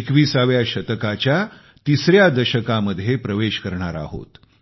21व्या शतकाच्या तिसऱ्या दशकामध्ये प्रवेश करणार आहोत